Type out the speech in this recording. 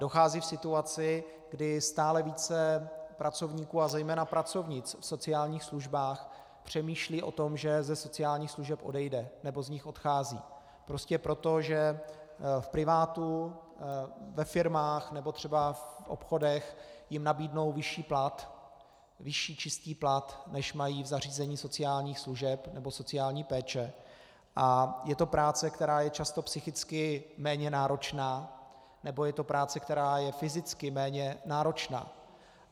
Dochází k situaci, kdy stále více pracovníků a zejména pracovnic v sociálních službách přemýšlí o tom, že ze sociálních služeb odejdou, nebo z nich odcházejí prostě proto, že v privátu, ve firmách nebo třeba v obchodech jim nabídnou vyšší plat, vyšší čistý plat, než mají v zařízení sociálních služeb nebo sociální péče, a je to práce, která je často psychicky méně náročná, nebo je to práce, která je fyzicky méně náročná.